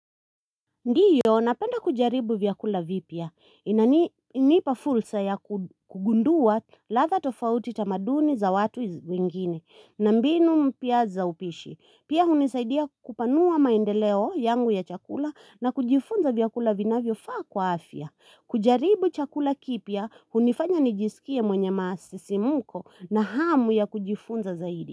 Ndiyo napenda kujaribu vyakula vipya inani nipa fursa ya kugundua ladha tofauti tamaduni za watu wengine na mbinu mpya za upishi. Pia hunisaidia kupanua maendeleo yangu ya chakula na kujifunza vyakula vinavyofaa kwa afya kujaribu chakula kipya hunifanya nijisikie mwenye masisimko na hamu ya kujifunza zaidi.